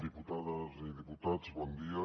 diputades i diputats bon dia